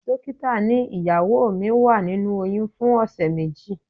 Dókítà ní ìyàwó mi wà nínú oyún fún ọ̀sẹ̀ méjì.